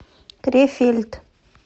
крефельд